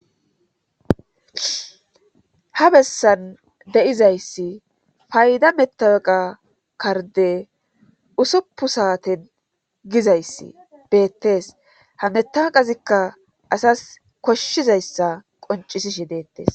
ha bessan deizayssi fayda metaeqa karde usuppu saaten gizayssi deettees hametaqazikka asas koshshizayssa qoncisishi deettees